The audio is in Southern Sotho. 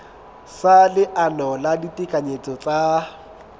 sa leano la ditekanyetso tsa